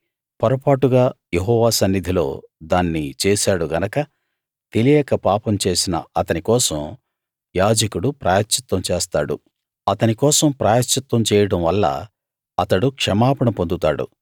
పొరపాటుగా యెహోవా సన్నిధిలో దాన్ని చేశాడు గనక తెలియక పాపం చేసిన అతని కోసం యాజకుడు ప్రాయశ్చిత్తం చేస్తాడు అతని కోసం ప్రాయశ్చిత్తం చేయడం వల్ల అతడు క్షమాపణ పొందుతాడు